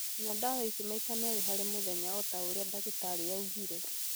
Nyua ndawa ici maita merĩ harĩ omũthenya ta ũrĩa ndagĩtarĩ augire